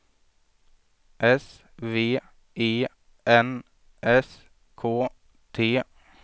S V E N S K T